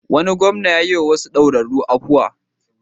Wani gwamna ya yiwa wasu daurarru afuwa.